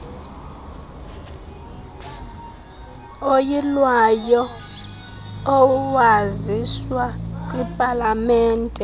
oyilwayo owaziswa kwipalamente